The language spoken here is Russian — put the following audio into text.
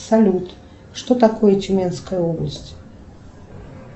салют что такое тюменская область